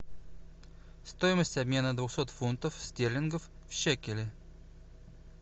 стоимость обмена двухсот фунтов стерлингов в шекели